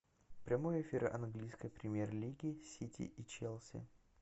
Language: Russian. прямой эфир английской премьер лиги сити и челси